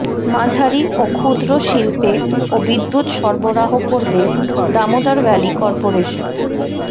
মাঝারি ও ক্ষুদ্র শিল্পেও বিদ্যুৎ সরবরাহ করবে দামোদর ভ্যালি কর্পোরেশন